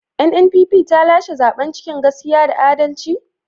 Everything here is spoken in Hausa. NNPP ta lashe zaben cikin gaskiya da adalci?